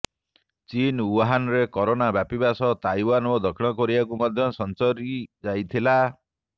ଚୀନ ଉହାନରେ କରୋନା ବ୍ୟାପିବା ସହ ତାଇୱାନ ଓ ଦକ୍ଷିଣ କୋରିଆକୁ ମଧ୍ୟ ସଂଚରି ଯାଇଥିଲା